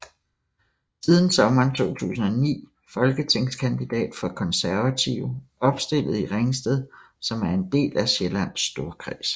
Siden sommeren 2009 folketingskandidat for Konservative opstillet i Ringsted som er en del af Sjællands Storkreds